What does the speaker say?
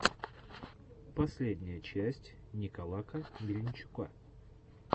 последняя часть николака мельничука